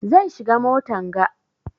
Zan shiga motan ga.